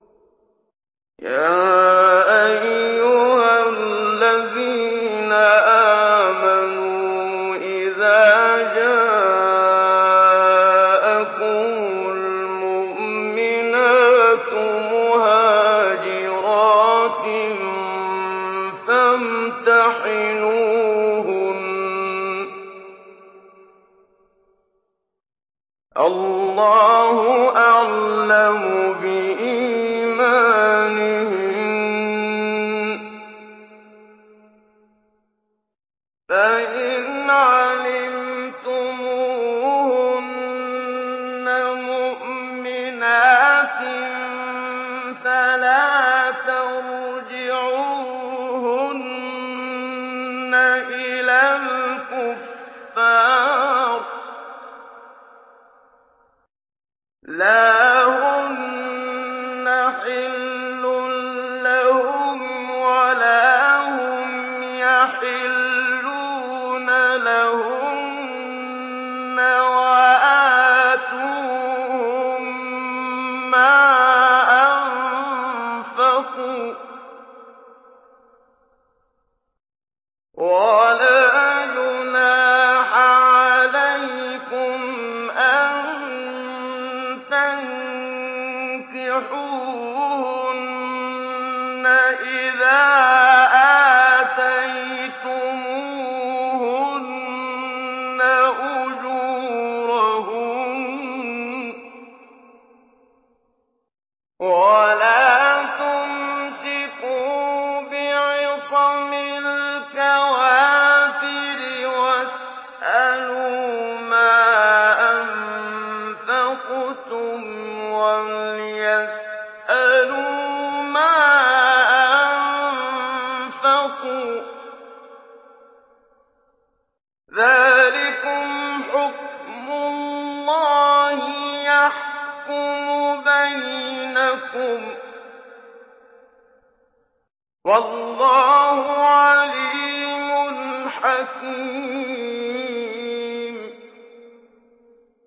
يَا أَيُّهَا الَّذِينَ آمَنُوا إِذَا جَاءَكُمُ الْمُؤْمِنَاتُ مُهَاجِرَاتٍ فَامْتَحِنُوهُنَّ ۖ اللَّهُ أَعْلَمُ بِإِيمَانِهِنَّ ۖ فَإِنْ عَلِمْتُمُوهُنَّ مُؤْمِنَاتٍ فَلَا تَرْجِعُوهُنَّ إِلَى الْكُفَّارِ ۖ لَا هُنَّ حِلٌّ لَّهُمْ وَلَا هُمْ يَحِلُّونَ لَهُنَّ ۖ وَآتُوهُم مَّا أَنفَقُوا ۚ وَلَا جُنَاحَ عَلَيْكُمْ أَن تَنكِحُوهُنَّ إِذَا آتَيْتُمُوهُنَّ أُجُورَهُنَّ ۚ وَلَا تُمْسِكُوا بِعِصَمِ الْكَوَافِرِ وَاسْأَلُوا مَا أَنفَقْتُمْ وَلْيَسْأَلُوا مَا أَنفَقُوا ۚ ذَٰلِكُمْ حُكْمُ اللَّهِ ۖ يَحْكُمُ بَيْنَكُمْ ۚ وَاللَّهُ عَلِيمٌ حَكِيمٌ